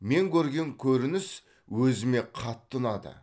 мен көрген көрініс өзіме қатты ұнады